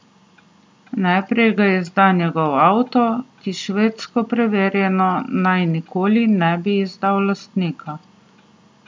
Najprej ga izda njegov avto, ki švedsko preverjeno naj nikoli ne bi izdal lastnika.